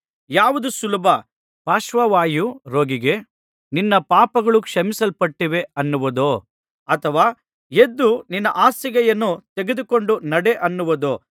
ಯಾವುದು ಸುಲಭ ಪಾರ್ಶ್ವವಾಯು ರೋಗಿಗೆ ನಿನ್ನ ಪಾಪಗಳು ಕ್ಷಮಿಸಲ್ಪಟ್ಟಿವೆ ಅನ್ನುವುದೋ ಅಥವಾ ಎದ್ದು ನಿನ್ನ ಹಾಸಿಗೆಯನ್ನು ತೆಗೆದುಕೊಂಡು ನಡೆ ಅನ್ನುವುದೋ